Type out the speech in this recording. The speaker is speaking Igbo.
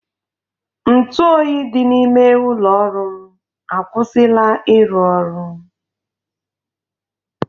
Ntụ oyi dị n'ime ụlọ ọrụ m akwụsịla ịrụ ọrụ